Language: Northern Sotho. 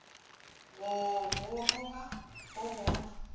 go go roga go go